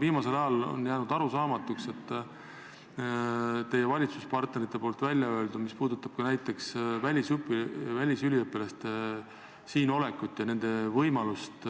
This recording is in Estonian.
Viimasel ajal on jäänud arusaamatuks teie valitsuspartnerite väljaöeldu, mis on puudutanud näiteks välisüliõpilaste Eestis olekut ja nende võimalust